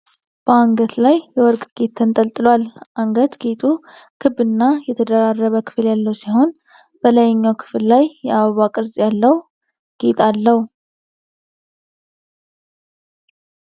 በአንገት ላይ የወርቅ ጌጥ ተንጠልጥሏል። አንገት ጌጡ ክብና የተደራረበ ክፍል ያለው ሲሆን፣ በላይኛው ክፍል ላይ የአበባ ቅርጽ ያለው ጌጥ አለው።